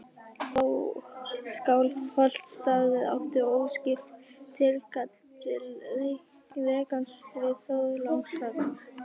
Skálholtsstaður átti óskipt tilkall til rekans við Þorlákshöfn.